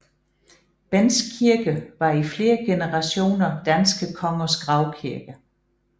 Bendts kirke var i flere generationer danske kongers gravkirke